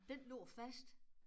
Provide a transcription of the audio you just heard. Den lå fast